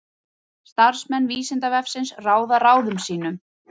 Starfsmenn Vísindavefsins ráða ráðum sínum.